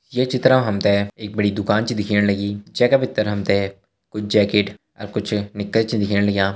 ये चित्र मा हम ते एक बड़ी दुकान छा दिखेण लगीं जै का भितर हम ते कुछ जैकेट अर कुछ निक्कर छ दिखेण लग्यां।